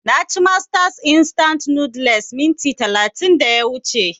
Na ci masters instant noodles minti talatin da ya wuce